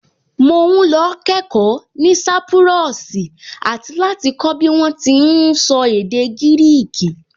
Mò ún lọ kẹ́ẹ̀kọ́ ní sápúrọ́ọ̀sì àti láti kọ́ bí wọ́n ti ún sọ èdè gírìkì